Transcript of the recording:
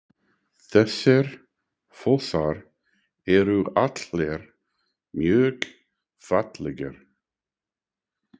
Þessir fossar eru allir mjög fallegir.